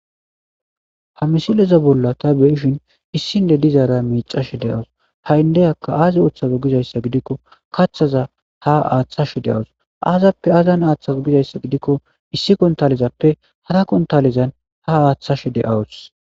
Ha misileza bolla ta beyishin issinde dizaara miicashe de awus ha'indeyaka aazi oththazo gizayssa gidikko kaththaza ha aaththashe de'awus aazappe azan aaththazo gizayssa gidikko issi kontalizappe hara kontalizan ha aaththashe de'awus.